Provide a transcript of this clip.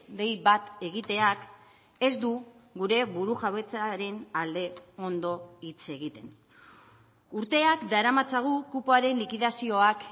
dei bat egiteak ez du gure burujabetzaren alde ondo hitz egiten urteak daramatzagu kupoaren likidazioak